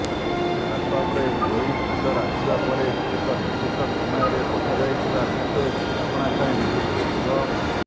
ହ୍ବାଟ୍ସଆପରେ ଏହି ଫିଚର ଆସିବା ପରେ ଏକ ନିର୍ଦ୍ଦିଷ୍ଟ ସମୟରେ ପଠାଯାଇଥିବା ମେସେଜ ଆପଣାଛାଏଁ ଡିଲିଟ ହୋଇଯିବ